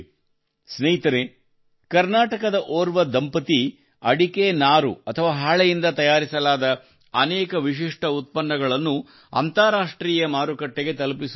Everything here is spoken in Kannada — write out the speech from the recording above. ಸ್ನೇಹಿತರೇ ಕರ್ನಾಟಕದ ಓರ್ವ ದಂಪತಿ ಅಡಿಕೆ ನಾರು ಅಥವಾ ಹಾಳೆಯಿಂದ ತಯಾರಿಸಲಾದ ಅನೇಕ ವಿಶಿಷ್ಠ ಉತ್ಪನ್ನಗಳನ್ನು ಅಂತಾರಾಷ್ಟ್ರೀಯ ಮಾರುಕಟ್ಟೆಗೆ ತಲುಪಿಸುತ್ತಿದ್ದಾರೆ